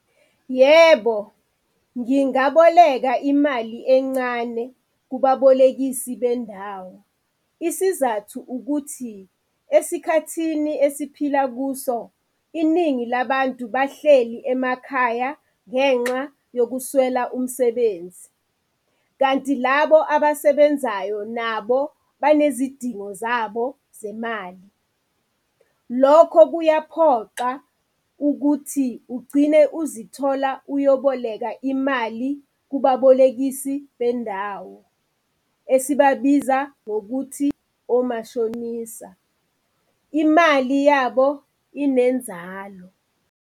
Yebo, ngingaboleka imali encane kubabolekisi bendawo. Isizathu ukuthi esikhathini esiphila kuso iningi labantu bahleli emakhaya ngenxa yokuswela umsebenzi, kanti labo abasebenzayo nabo banezidingo zabo zemali. Lokho kuyaphoqa ukuthi ugcine uzithola uyoboleka imali kubabolekisi bendawo esibabiza ngokuthi omashonisa. Imali yabo inenzalo.